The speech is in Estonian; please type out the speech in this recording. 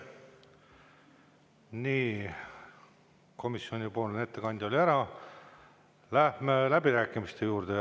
Nii, komisjonipoolne ettekanne oli ära, läheme läbirääkimiste juurde.